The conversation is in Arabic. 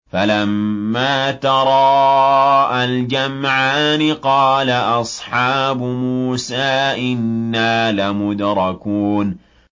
فَلَمَّا تَرَاءَى الْجَمْعَانِ قَالَ أَصْحَابُ مُوسَىٰ إِنَّا لَمُدْرَكُونَ